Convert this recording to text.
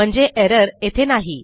म्हणजे errorयेथे नाही